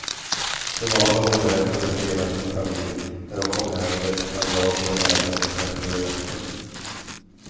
Det var vad hon berättade för hela sin familj när hon kom hem med ett bandage över näsan och smärtor i nacken.